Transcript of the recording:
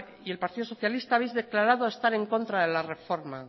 y el partido socialista habéis declarado estar en contra de la reforma